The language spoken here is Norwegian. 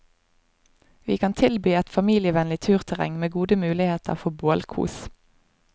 Vi kan tilby et familievennlig turterreng, med gode muligheter for bålkos.